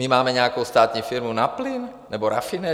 My máme nějakou státní firmu na plyn, nebo rafinerii?